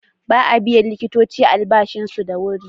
Ba a biyan likitoci albashinsu da wuri.